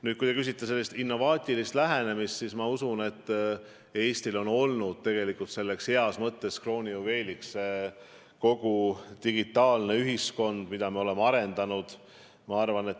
Nüüd, kui te küsite innovaatilise lähenemise kohta, siis ma usun, et Eesti heas mõttes kroonijuveel on ju olnud kogu digitaalne ühiskond, mida me oleme arendanud.